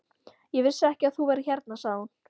Ég vissi ekki að þú værir hérna sagði hún.